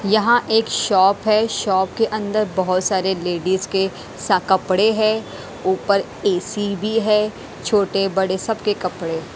यहां एक शॉप है शॉप के अंदर बहोत सारे लेडीज के सा कपड़े है ऊपर ए_सी भी है छोटे बड़े सबके कपड़े--